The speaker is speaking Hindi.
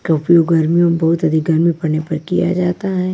क्योंकि ओ गर्मियों मे बहुत अधिक गर्मी पड़ने पर किया जाता है।